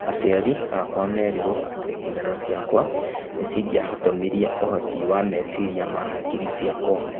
Aciari akwa merirwo atĩ nguraro ciakwa nĩcingĩahotomirie ũhoti wa meciria ma hakiri ciakwa.